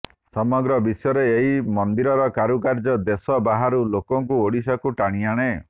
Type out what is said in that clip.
ସମଗ୍ର ବିଶ୍ବରେ ଏହି ମନ୍ଦିରର କାରୁକାର୍ଯ୍ୟ ଦେଶ ବାହାରୁ ଲୋକଙ୍କୁ ଓଡ଼ିଶାକୁ ଟାଣି ଆଣେ